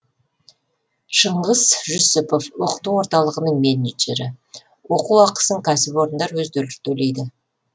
шыңғыс жүсіпов оқыту орталығының менеджері оқу ақысын кәсіпорындар өздері төлейді